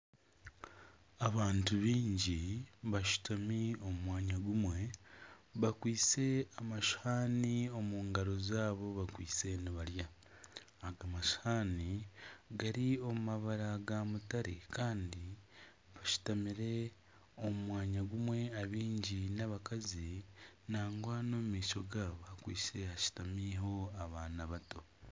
Abantu biingi bashutami omu mwanya gumwe bakwaitse amashuhani omungaro zabo bakwaitse nibarya. Ago mashuhani gari omu mabara ga mutare Kandi bashutamire omu mwanya gumwe abaingi n'abakazi nangwa n'omumaisho gabo hakwaitse hashutamireho abaana bato.